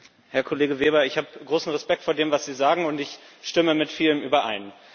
Herr Kollege Weber, ich habe großen Respekt vor dem, was Sie sagen, und ich stimme mit vielem überein.